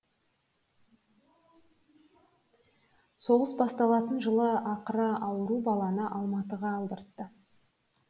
соғыс басталатын жылы ақыры ауру баланы алматыға алдыртты